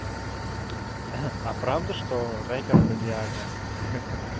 а правда что рэпер это диагноз ха ха